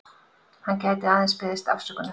Hann gæti aðeins beðist afsökunar